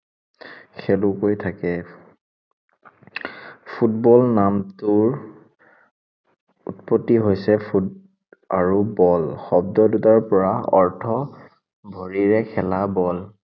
খেলুৱৈ থাকে ফুটবল নামটোৰ উৎপত্তি হৈছে foot আৰু ball শব্দ দুটাৰ পৰা অৰ্থ, ভৰিৰে খেলা বল।